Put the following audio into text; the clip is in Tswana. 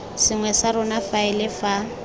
sengwe sa rona faele fa